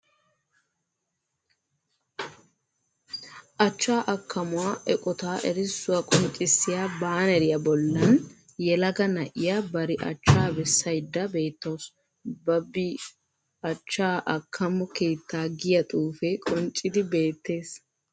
Achchaa akkamuwa eqotaa erissuwa qonccissiya baaneriya bollan yelaga na'iya bari achchaa bessaydda beettawusu. Babi achchaa akkamo keettaa giya xuufee qonccidi beettees.